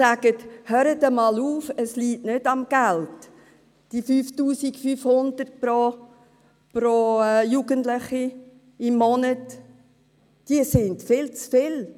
Diese sagen: Hört einmal auf, es liegt nicht am Geld, monatliche 5500 Franken pro Jugendlichem sind viel zu viel.